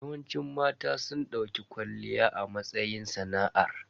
Yawanci mata sun dauki kwalliya a matsayin sana'ar.